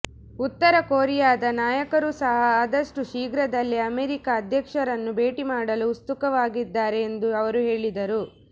ಉತ್ತರ ಕೊರಿಯಾದ ನಾಯಕರೂ ಸಹ ಆದಷ್ಟು ಶೀಘ್ರದಲ್ಲೇ ಅಮೆರಿಕ ಅಧ್ಯಕ್ಷರನ್ನು ಭೇಟಿ ಮಾಡಲು ಉತ್ಸುಕವಾಗಿದ್ದಾರೆ ಎಂದು ಅವರು ಹೇಳಿದರು